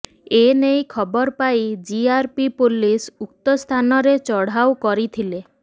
ଏନେଇ ଖବର ପାଇ ଜିଆରପି ପୋଲିସ ଉକ୍ତ ସ୍ଥାନରେ ଚଢାଉ କରିଥିଲେ